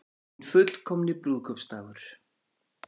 Hinn fullkomni brúðkaupsdagur